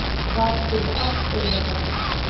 Það gerir allt auðveldara.